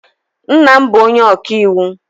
Nna m bụ onye ọka iwu.